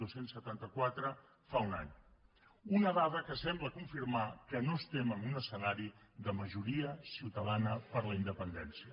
dos cents i setanta quatre fa un any una dada que sembla confirmar que no estem en un escenari de majoria ciutadana per la independència